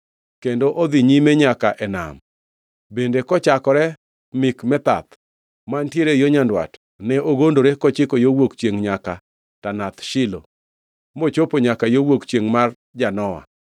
kendo odhi nyime nyaka e nam. Bende kochakore Mikmethath mantiere yo nyandwat ne ogondore kochiko yo wuok chiengʼ nyaka Tanath Shilo, mochopo nyaka yo wuok chiengʼ mar Janoa.